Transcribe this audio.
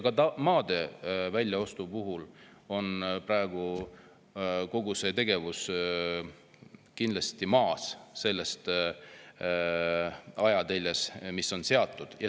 Ka kogu see maade väljaostu tegevus on praegu kindlasti maas sellest ajateljest, mis on projektile seatud.